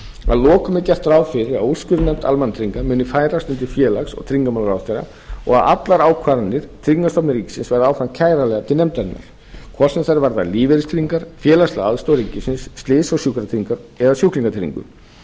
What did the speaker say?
að lokum er gert ráð fyrir að úrskurðarnefnd almannatrygginga muni færast undir félags og tryggingamálaráðherra og allar ákvarðanir tryggingastofnunar ríkisins verði áfram til nefndarinnar hvort sem þær varða lífeyristryggingar félagslega aðstoð ríkisins slys og sjúkratryggingar eða sjúklingatryggingu